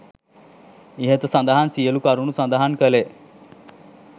ඉහත සඳහන් සියලු කරුණු සඳහන් කළේ